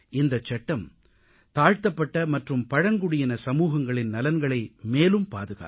இந்தச் சட்டம் தாழ்த்தப்பட்ட மற்றும் பழங்குடியின சமூகங்களின் நலன்களை மேலும் பாதுகாக்கும்